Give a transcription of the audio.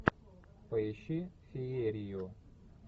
поищи феерию